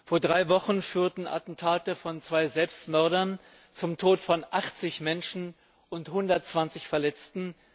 Vor drei Wochen führten Attentate von zwei Selbstmördern zum Tod von 80 Menschen und zu 120 Verletzten.